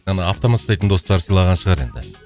ана автомат ұстайтын достары сыйлаған шығар енді